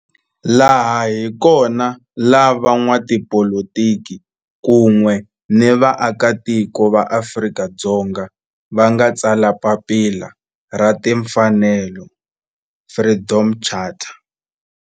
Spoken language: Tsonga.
Laha hi kona la van'watipolitiki kun'we ni vaaka tiko va Afrika-Dzonga va nga tsala papila ra timfanelo, Freedom Charter.